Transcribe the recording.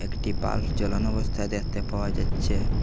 একটি বাল্ব জ্বালানো অবস্থায় দেখতে পাওয়া যাচ্ছে।